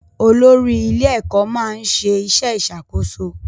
Olórí ilé-ẹ̀kọ́ máa ń ṣe iṣẹ́ ìṣàkóso